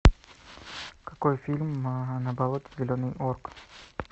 какой фильм на болоте зеленый орк